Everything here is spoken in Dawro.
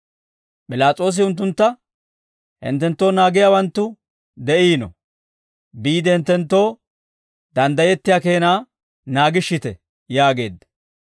P'ilaas'oosi unttuntta, «Hinttenttoo naagiyaawanttu de'iino; biide hinttenttoo danddayettiyaa keenaa naagishshite» yaageedda.